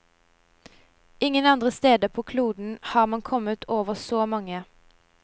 Ingen andre steder på kloden har man kommet over så mange.